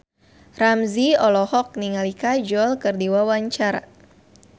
Ramzy olohok ningali Kajol keur diwawancara